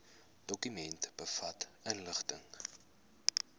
dokument bevat inligting